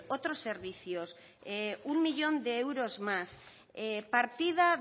otros servicios un millón de euros más partida